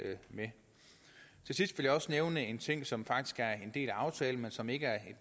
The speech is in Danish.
med til sidst vil jeg også nævne en ting som faktisk er en del af aftalen men som ikke er